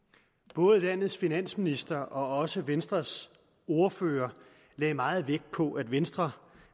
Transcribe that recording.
både landets finansminister og også venstres ordfører lagde meget vægt på at venstre